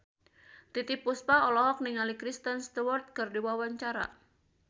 Titiek Puspa olohok ningali Kristen Stewart keur diwawancara